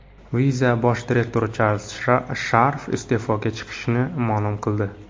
Visa bosh direktori Charlz Sharf iste’foga chiqishini ma’lum qildi.